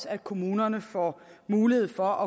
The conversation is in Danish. at kommunerne får mulighed for